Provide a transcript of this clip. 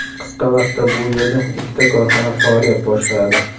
Qisqa vaqtda bu yerda ikkita korxona faoliyat boshladi.